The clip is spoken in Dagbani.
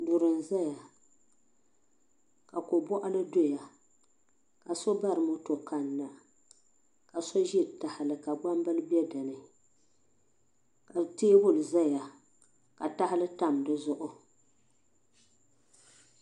Duri n zaya ka ko bɔɣili doya ka so bari moto kanna ka so ʒe tahili ka gbambili bɛ dinni ka tɛbuli zaya ka tahili tam di zuɣu.